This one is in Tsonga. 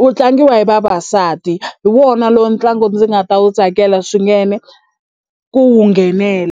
wu tlangiwa hi vavasati hi wona lowu ntlangu ndzi nga ta wu tsakela swinene ku wu nghenela.